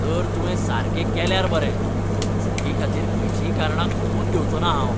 तर, तुवें सारकें केल्यार बरें. चुकीं खातीर खंयचीय कारणां खपोवन घेवचो ना हांव.